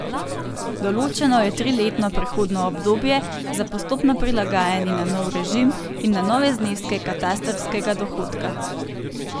Določeno je triletno prehodno obdobje za postopno prilagajanje na nov režim in na nove zneske katastrskega dohodka.